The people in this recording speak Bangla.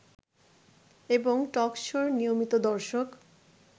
এবং টকশোর নিয়মিত দর্শক